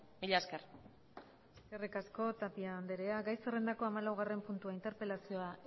mila esker eskerrik asko tapia andrea gai zerrendako hamalaugarren puntua interpelazioa